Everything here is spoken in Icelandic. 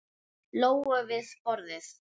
Lóu við borðið.